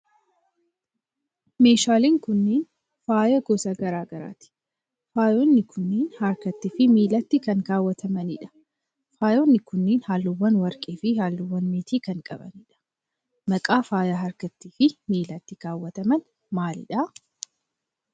Meeshaaleen kunneen ,faaya gosa garaa garaati. Faayonni kunneen, harkatti fi miilatti kan kaawwatamanii dha. Faayonni kunneen, haalluuwwan warqee fi haalluuwwan meetii kan qabanii dha. Maqaan faaya harkattii fi miilatti kaawwatamanii maali dha?